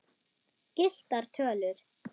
Gylltar tölur.